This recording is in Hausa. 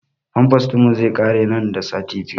Famfas ɗin mu zai ƙare nan da sati biyu